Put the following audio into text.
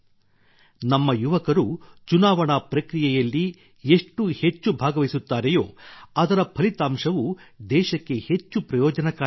ನಮ್ಮ ಯುವಕರು ಚುನಾವಣಾ ಪ್ರಕ್ರಿಯೆಯಲ್ಲಿ ಎಷ್ಟು ಹೆಚ್ಚು ಭಾಗವಹಿಸುತ್ತಾರೆಯೋ ಅದರ ಫಲಿತಾಂಶವು ದೇಶಕ್ಕೆ ಹೆಚ್ಚು ಪ್ರಯೋಜನಕಾರಿಯಾಗಲಿದೆ